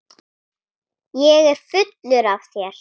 Þessir menn eru góðu vanir.